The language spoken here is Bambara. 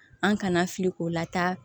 An kana fili k'o lataa